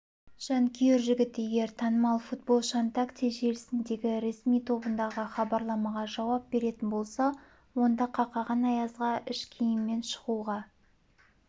жанкүйер жігіт егер танымал футболшыонтакте желісіндегі ресми тобындағы хабарламаға жауап беретін болса онда қақаған аязға іш киіммен шығуға